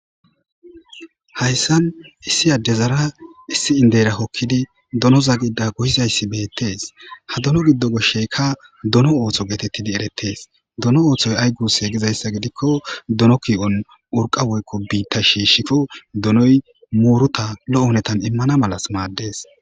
Hayssan issi addezara issi indeyra kokkidi donoza gidda goyizayssi beettes ha dono giddo goshsheykka dono ootho geetettidi erettees. Dono oothoy ay guusse gizayssa gidikko dono ki7on urqqa woykko biitta shiishshikko donoy muuruta lo7o hunetan immana malas maaddes.